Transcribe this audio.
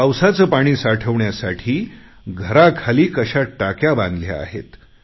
पावसाचे पाणी साठवण्यासाठी घराखाली कशा टाक्या बांधल्या आहेत